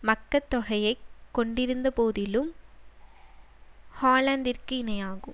மக்கட்தொகையை கொண்டிருந்த போதிலும் ஹாலந்திற்கு இணையாகும்